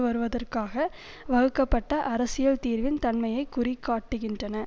வருவதற்காக வகுக்கப்பட்ட அரசியல் தீர்வின் தன்மையை குறிகாட்டுகின்றன